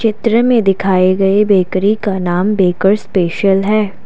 त्र में दिखाए गए बेकरी का नाम बेकर्स स्पेशल है।